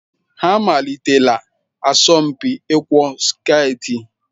Ha amalitela asọmpi ịkwọ sketị?